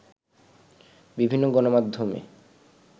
বিভিন্ন গণমাধ্যমে